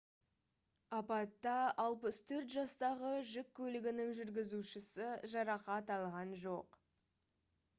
апатта 64 жастағы жүк көлігінің жүргізушісі жарақат алған жоқ